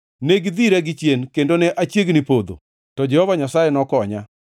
Ne gidhira gichien kendo ne achiegni podho, to Jehova Nyasaye nokonya.